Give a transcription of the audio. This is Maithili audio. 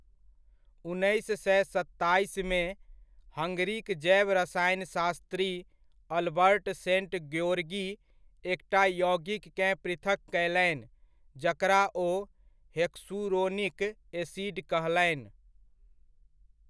उन्नैस सए सत्ताइसमे, हंगरीक जैव रसायनशास्त्री अल्बर्ट सेंट ग्योर्गी एकटा यौगिककेँ पृथक कयलनि जकरा ओ हेक्सुरोनिक एसिड कहलनि।